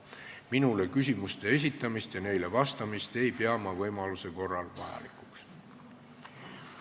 Minule küsimuste esitamist ja neile vastamist ei pea ma võimaluse korral vajalikuks.